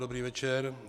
Dobrý večer.